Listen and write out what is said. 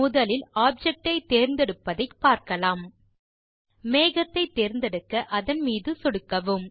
முதலில் ஆப்ஜெக்ட் ஐ தேர்ந்தெடுப்பதை பார்க்கலாம் மேகத்தை தேர்ந்தெடுக்க அதன் மீது சொடுக்கவும்